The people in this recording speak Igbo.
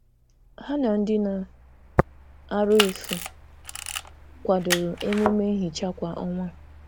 Ha na ndị na - arụ efu kwadoro emume nhicha kwa ọnwa